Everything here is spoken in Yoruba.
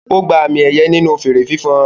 Ó gba àmì-ẹ̀yẹ nínú fèèrè fífan.